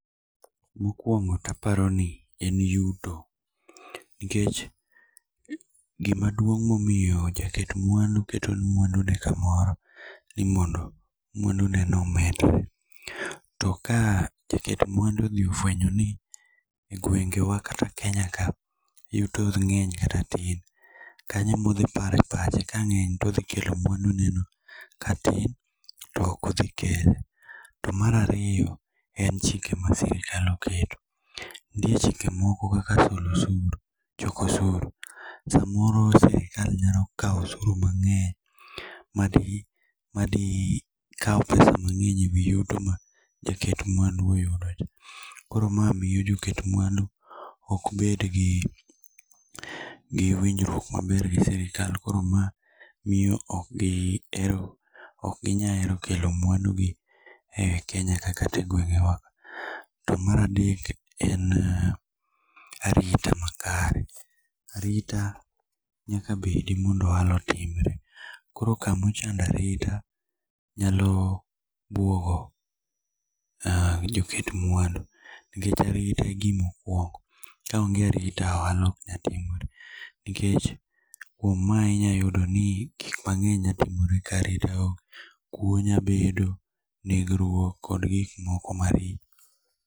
Mokwongo to aparo ni en yuto. Nikech gima duong' momiyo jaket mwandu keto mwandu ne kamoro ni moro mwandu neno omedre. To ka jaket mwandu odhi ofwenyo ni e gwenge wa kata Kenya ka, yuto ng'eny kata tin. Kanyo e ma odhi paro e pache. Ka ng'eny to odhi kelo mwandu ne no. Ka tin to ok odhi kelo. To mar ariyo, en chike ma rirkal oketp. Nitie chike moko kaka solo osuru. Choko osuru. Samoro sirkal nyalo kaw osuru mang'eny madhi kaw pesa mang'eny e wi yuto ma jaket mwandu oyudo. Koro ma miyo joket mwandu ok bed gi winjruok maber gi sirkal. Koro ma miyo ok ginya hero kelo mwandu gi e Kenya ka kata e gwenge wa. To mar adek en arita makare. Arita nyaka bed mondo ohala otimre. Koro kamochando arita nyalo bwogo joket mwandu. Nikech arita e gima okwongo. Ka onge arota ohala ok nyal timore. Nikech kuom mae inya yudo ni gik mang'eny nyalo timore ka arita onge. Kuo nya bvedo, negruok kod gik moko maricho.